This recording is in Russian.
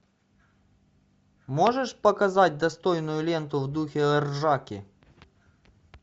можешь показать достойную ленту в духе ржаки